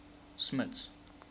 smuts